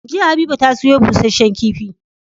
Jiya habiba ta siyo bushehen kifi